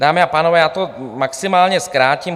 Dámy a pánové, já to maximálně zkrátím.